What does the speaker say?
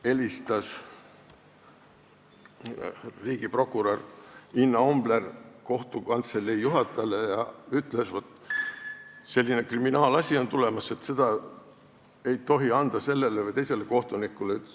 Helistas riigiprokurör Inna Ombler kohtu kantselei juhatajale ja ütles, et üks kriminaalasi on tulemas ja seda ei tohi anda sellele või teisele kohtunikule.